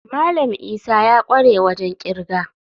Malam Isa ya kware wajen kirga.